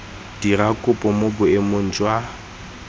dira kopo mo boemong jwa